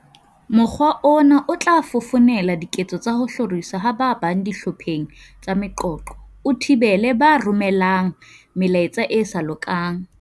"Mokgwa ona o tla fofonela diketso tsa ho hloriswa ha ba bang dihlopheng tsa meqoqo, o thibele ba romelang me laetsa e sa lokang."